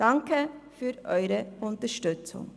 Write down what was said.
Danke für Ihre Unterstützung.